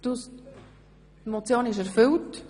Die Motion ist erfüllt.